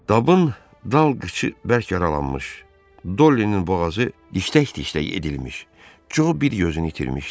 Dabın dal qıçı bərk yaralanmış, Dollinin boğazı diktək-diktək edilmiş, Co bir gözünü itirmişdi.